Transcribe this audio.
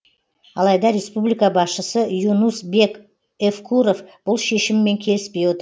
алайда республика басшысы юнус бек евкуров бұл шешіммен келіспей отыр